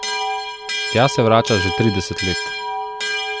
Tja se vrača že trideset let.